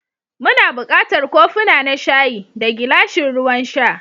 Muna buƙatar kofuna na shayi, da gilashin ruwan sha.